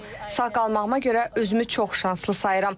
Sağ qalmağıma görə özümü çox şanslı sayıram.